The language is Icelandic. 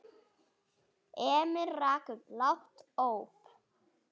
Emil rak upp lágt óp.